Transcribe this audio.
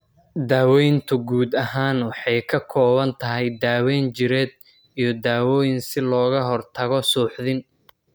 Daaweyntu guud ahaan waxay ka kooban tahay daawayn jireed iyo dawooyin si looga hortago suuxdin.